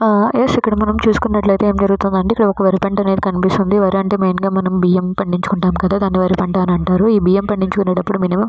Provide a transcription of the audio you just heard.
యస్ఇక్కడ చూసుకుంటు యితే అమీ జరుగుతున్నది అంటే ఇక్కడ ఒక వర్క్ కనిపిస్తున్నది వ్ వరి అంటే మనం బియ్యం పాడించుకుంఠం కదా దానిని వరి పంట అంటారు ఈ బియ్యం పాడించుకొనేటపుడు మినిమయం --